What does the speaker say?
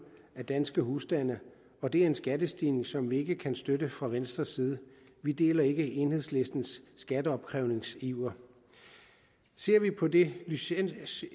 af danske husstande og det er en skattestigning som vi ikke kan støtte fra venstres side vi deler ikke enhedslistens skatteopkrævningsiver ser vi på det licenssystem